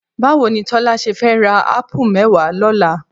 Báwo ni Tọ́lá ṣe fẹ́ ra ápù mẹ́wàá lọ́la?